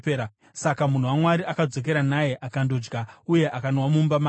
Saka munhu waMwari akadzokera naye akandodya uye akanwa mumba make.